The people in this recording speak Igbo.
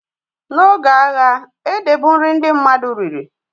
Na oge agha, ede bụ nri ndị mmadụ riri